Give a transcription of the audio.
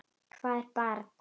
Hvað er barn?